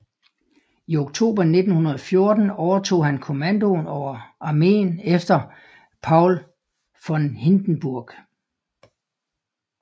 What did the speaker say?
I oktober 1914 overtog han kommandoen over armeen efter Paul von Hindenburg